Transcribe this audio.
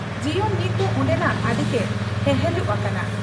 ᱡᱤᱭᱚᱱ ᱱᱤᱛᱫᱚ ᱚᱱᱰᱮᱱᱟᱜ ᱟᱹᱰᱤᱜᱮ ᱦᱮᱦᱮᱞᱩᱜ ᱟᱠᱟᱱᱟ ᱾